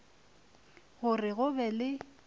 go re go be le